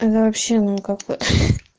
вообще ну как вот